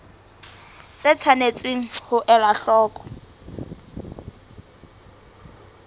tse tshwanetseng ho elwa hloko